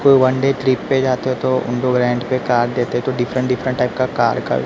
कोई one day trip पे जाते हो तो उन लोग रेंट पे कार देते तो डिफरेंट डिफरेंट टाइप का कार का--